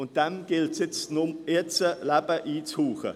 Diesem gilt es nun Leben einzuhauchen.